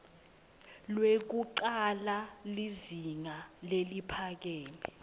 lwekucala lizinga leliphakeme